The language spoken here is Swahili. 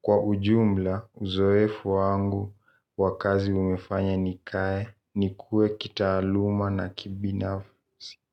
Kwa ujumla uzoefu wangu wa kazi umefanya nikae nikue kitaaluma na kibinafsi.